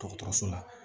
Dɔgɔtɔrɔso la